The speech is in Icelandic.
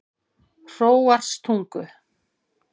Hróarstungu